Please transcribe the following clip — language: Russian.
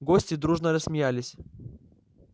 гости дружно рассмеялись